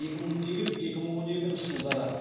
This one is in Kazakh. екі мың сегіз екі мың он екінші жылдары